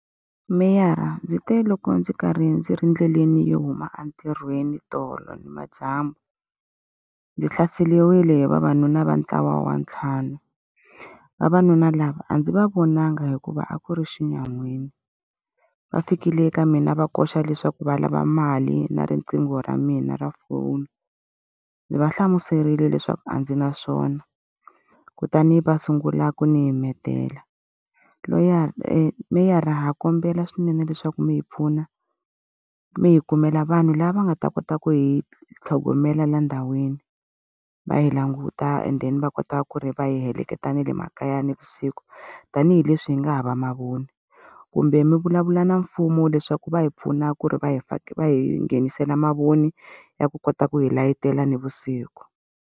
Meyara ndzi te loko ndzi karhi ndzi ri endleleni yo huma entirhweni tolo ni madyambu, ndzi hlaseriwile hi vavanuna va ntlawa wa ntlhanu. Vavanuna lava a ndzi va vonanga hikuva a ku ri xinyamini. Va fikile eka mina va koxa leswaku va lava mali na riqingho ra mina ra foni, ndzi va hlamuserile leswaku a ndzi na swona kutani va sungula ku ni himetela. meyara ha kombela swinene leswaku mi hi pfuna, mi hi kumela vanhu lava nga ta kota ku hi tlhogomela laha ndhawini, va hi languta and then va kota ku ri va hi heleketa na le makaya navusiku, tanihileswi hi nga hava mavoni. Kumbe mi vulavula na mfumo leswaku va hi pfuna ku ri va hi va hi nghenisela mavoni ya ku kota ku hi layitela navusiku.